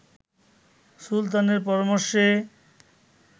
সুলতানের পরামর্শে